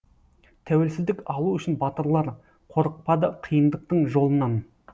тәуелсіздік алу үшін батырлар қорықпады қиындықтың жолынан